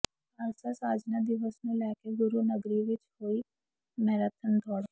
ਖ਼ਾਲਸਾ ਸਾਜਨਾ ਦਿਵਸ ਨੂੰ ਲੈ ਕੇ ਗੁਰੂ ਨਗਰੀ ਵਿਚ ਹੋਈ ਮੈਰਾਥਨ ਦੌੜ